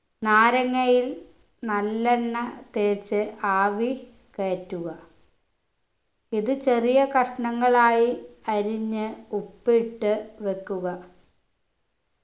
നാരങ്ങയിൽ നല്ലെണ്ണ തേച്ച് ആവി കയറ്റുക ഇത് ചെറിയ കഷ്ണങ്ങളായി അരിഞ്ഞ് ഉപ്പിട്ട് വെക്കുക